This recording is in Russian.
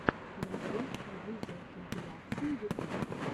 нарой видеокомпиляции ютуб